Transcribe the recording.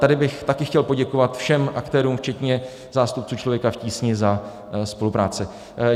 Tady bych taky chtěl poděkovat všem aktérům, včetně zástupců Člověka v tísni, za spolupráci.